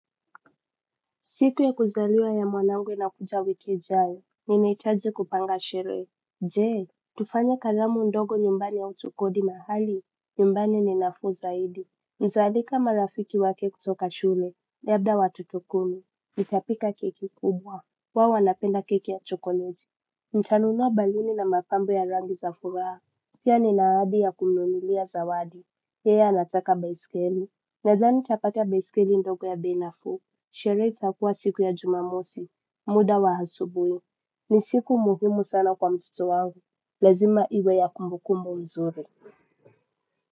Siku ya kuzaliwa ya mwanangu inakuja wiki ijaye, ninaitaji kupanga sherehe. Jee, tufanye kalamu ndogo nyumbani au tukodi mahali, nyumbani ni nafuu zaidi. Nizaalika marafiki wake kutoka shule, na yabda watoto kumi. Nitapika keki kubwa, wao wanapenda keki ya chokoleji. Nitanunua baluni na mapambo ya rangi za furaha. Pia nina aadi ya kumnunulia zawadi. Yeye anataka biaskeli. Nadhani nitapata baiskeli ndogo ya bei nafuu. Sherehe itakuwa siku ya jumamosi muda wa hasubuyi ni siku muhimu sana kwa mtoto wangu lazima iwe ya kumbukumbu mzuri.